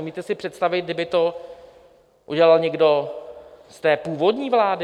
Umíte si představit, kdyby to udělal někdo z té původní vlády?